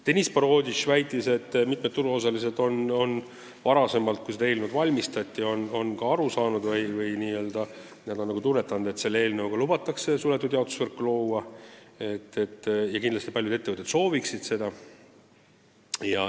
Deniss Boroditš väitis, et mitmed turuosalised on selle eelnõu ettevalmistamise ajal nagu aru saanud, et eelnõuga lubatakse suletud jaotusvõrku luua, ja kindlasti paljud ettevõtted soovivad seda.